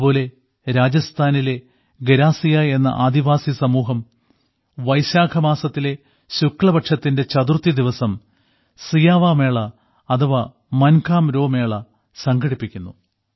അതുപോലെ രാജസ്ഥാനിലെ ഗരാസിയ എന്ന ആദിവാസി സമൂഹം വൈശാഖമാസത്തിലെ ശുക്ലപക്ഷത്തിലെ ചതുർത്ഥി ദിവസം സിയാവാ മേള അഥവാ മൻഖാരോ മേള സംഘടിപ്പിക്കുന്നു